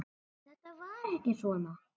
En þetta var ekki svona.